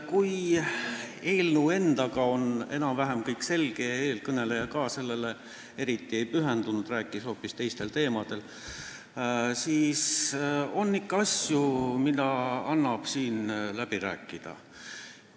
Kui eelnõu endaga on enam-vähem kõik selge – ja eelkõneleja sellele eriti ei pühendunud, rääkis hoopis teistel teemadel –, siis on ikka asju, mida annab siin läbi rääkida.